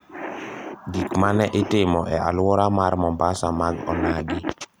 Gik ma ne itimo e alwora mar Mombasa mag onagi